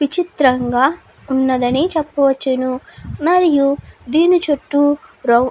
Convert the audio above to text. విచిత్రం గా ఉన్నదని చెప్పవచ్చును మరియు దీని చుట్టూ రౌ --